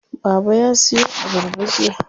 Baba ya siyo abarba jiya.